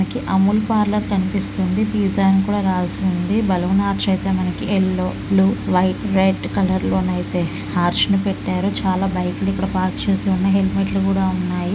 మనకి అముల్ పార్లర్ కనిపిస్తుంది పిజ్జా అని కూడా రాసి ఉంది బెలూన్ ఆర్చ్ అయితే మనకి yellow blue white red colour లోనైతే ఆర్చ్ ని పెట్టారు చాలా బైకు లు ఇక్కడ పార్క్ చేసి ఉన్నాయి హెల్మెట్ లు కూడా ఉన్నాయి.